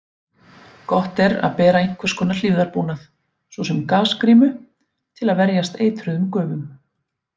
Gott er að bera einhvers konar hlífðarbúnað, svo sem gasgrímu, til að verjast eitruðum gufum.